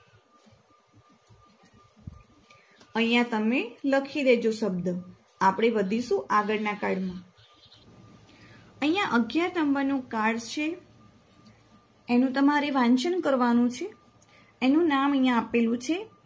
અહિયાં તમે લખીદેજો શબ્દ આપણે વધી શું આગળના card અહિયાં અગીયા નંબરનુ card છે એનું તમારે વાંચન કરવાનું છે. એનું નામ અહિયાં આપેલું છે.